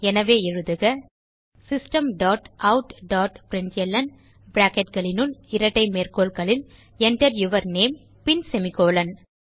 எனவே எழுதுக system dot out dot println bracketகளினுள் இரட்டை மேற்கோள்களில் Enter யூர் நேம் பின் செமிகோலன்